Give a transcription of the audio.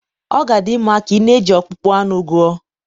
ọ ga-adị mma ka ị na-eji ọkpụkpụ anụ gụọ